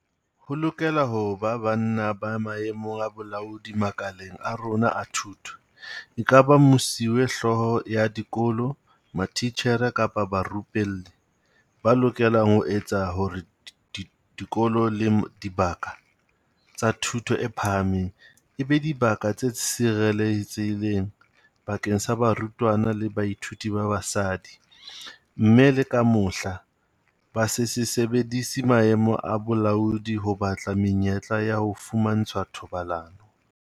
Ho lokela ho ba banna ba maemong a bolaodi makaleng a rona a thuto, ekaba mesuwehlooho ya dikolo, matitjhere kapa barupelli. Ba lokelang ho etsa hore dikolo le dibaka tsa thuto e phahameng e be dibaka tse sireletsehileng bakeng sa barutwana le bathuiti ba basadi, mme le ka mohla, ba se se sebedise maemo a bolaodi ho batla menyetla ya ho fumantshwa thobalano.